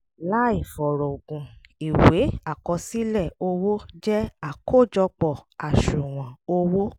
làì fọ̀rọ̀gùn ìwé àkọsílẹ̀ owó jẹ́ àkójọpọ̀.àṣùwọ̀n owó